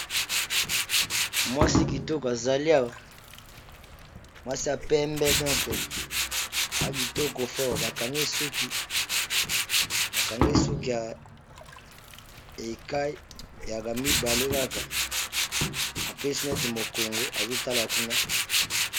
Mwasi kitoko azali awa mwasi ya pembe donci aza kitoko fort, akangi suki bakange esuki ya ekai yaamibale kaka ampesi neti mokongo azotala kuna.